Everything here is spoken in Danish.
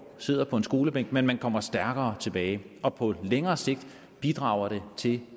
sidder på en skolebænk men man kommer stærkere tilbage og på længere sigt bidrager det til